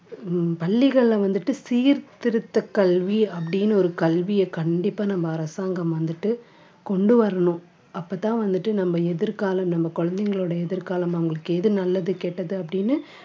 உம் பள்ளிகள்ல வந்துட்டு சீர்திருத்த கல்வி அப்படின்னு ஒரு கண்டிப்பா நம்ம அரசாங்கம் வந்துட்டு கொண்டு வரணும். அப்பதான் வந்துட்டு நம்ம எதிர்காலம் நம்ம குழந்தைங்களோட எதிர்காலம் அவங்களுக்கு எது நல்லது கெட்டது அப்படின்னு